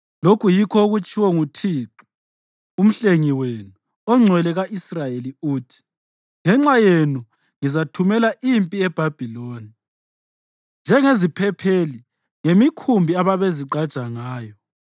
Lokhu yikho okutshiwo nguThixo, uMhlengi wenu, oNgcwele ka-Israyeli, uthi, “Ngenxa yenu ngizathumela impi eBhabhiloni ilethe bonke abaseBhabhiloni, njengeziphepheli ngemikhumbi ababezigqaja ngayo.